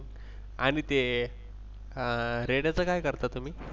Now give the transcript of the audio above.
आणि ते अं रेड्याचं काय करता तुम्ही?